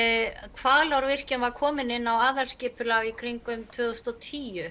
Hvalárvirkjun var komin inn á aðalskipulag í kringum tvö þúsund og tíu